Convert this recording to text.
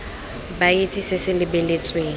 ba itse se se lebeletsweng